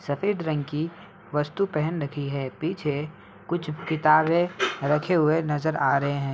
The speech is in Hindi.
सफेद रंग की वस्तु पहन रखी है। पीछे कुछ किताबें रखे हुए नजर आ रहे हैं।